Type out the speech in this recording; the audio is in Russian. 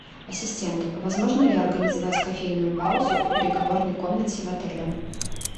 ассистент возможно ли организовать кофейную паузу в переговорной комнате в отеле